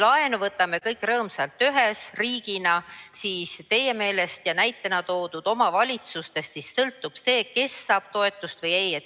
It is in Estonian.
Laenu võtame kõik rõõmsalt ühe riigina, aga nagu te näitena tõite, sõltub omavalitsustest see, kas saab toetust või ei.